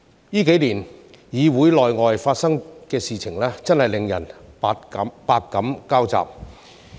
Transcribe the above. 這幾年議會內外發生的事情，真是令人百感交集。